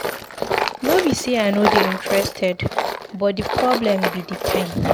No be say I no dey interested but the problem be the time.